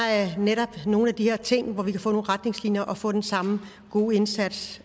er netop nogle af de her ting hvor vi kan få nogle retningslinjer og få den samme gode indsats